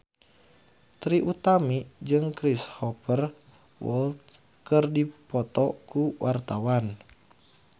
Trie Utami jeung Cristhoper Waltz keur dipoto ku wartawan